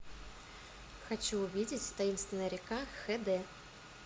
хочу увидеть таинственная река хд